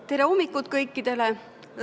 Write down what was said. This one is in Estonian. Tere hommikust kõikidele!